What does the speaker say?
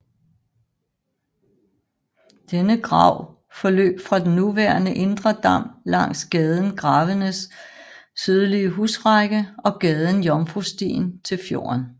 Denne grav forløb fra den nuværende indre dam langs gaden Gravenes sydlige husrække og gaden Jomfrustien til fjorden